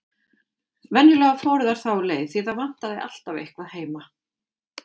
Venjulega fóru þær þá leið, því það vantaði alltaf eitthvað heima.